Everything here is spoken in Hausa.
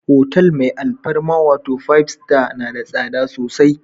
hotal mai alfarma wato Five Star, na da tsada sosai.